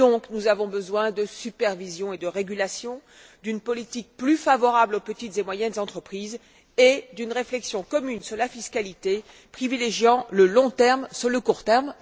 Nous avons donc besoin de supervision et de régulation, d'une politique plus favorable aux petites et moyennes entreprises et d'une réflexion commune sur la fiscalité privilégiant le long terme sur le court terme.